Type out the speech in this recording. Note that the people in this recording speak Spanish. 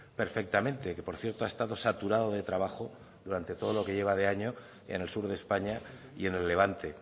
perfectamente que por cierto ha estado saturado de trabajo durante todo lo que lleva de año en el sur de españa y en el levante